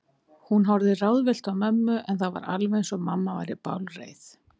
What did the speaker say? Hún horfði ráðvillt á mömmu, en það var alveg eins og mamma væri bálreið.